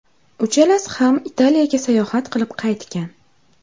Uchalasi ham Italiyaga sayohat qilib qaytgan.